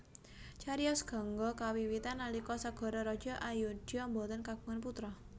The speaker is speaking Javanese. Cariyos Gangga kawiwitan nalika Sagara Raja Ayodhya boten kagungan putra